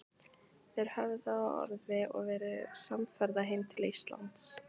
Þeir höfðu á orði að verða samferða heim til Íslands.